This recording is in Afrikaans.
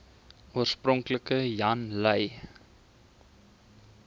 oorspronklik jan lui